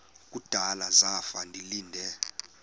kudala zafa ndilinde